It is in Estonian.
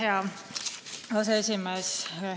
Hea aseesimees!